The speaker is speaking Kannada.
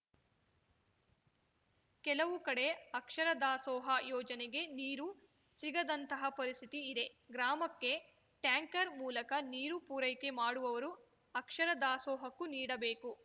ಕೆಲವು ಕಡೆ ಅಕ್ಷರ ದಾಸೋಹ ಯೋಜನೆಗೆ ನೀರು ಸಿಗದಂತಹ ಪರಿಸ್ಥಿತಿ ಇದೆ ಗ್ರಾಮಕ್ಕೆ ಟ್ಯಾಂಕರ್‌ ಮೂಲಕ ನೀರು ಪೂರೈಕೆ ಮಾಡುವವರು ಅಕ್ಷರ ದಾಸೋಹಕ್ಕೂ ನೀಡಬೇಕು